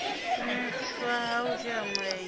khwiniswa ha u shela mulenzhe